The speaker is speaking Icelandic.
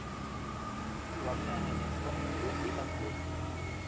Stundum mátti ég rulla með henni þvott úti í hjalli.